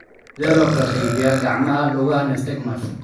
Sidee loo kala qaybiyaa gacmaha lugaha nystagmus?